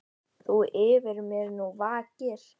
Þú yfir mér nú vakir.